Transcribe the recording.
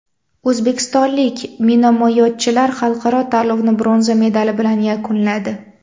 O‘zbekistonlik minomyotchilar xalqaro tanlovni bronza medali bilan yakunladi.